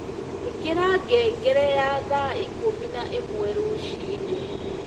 ĩkĩra ngengere ya thaa ĩkũmĩ na ĩmwe rũciini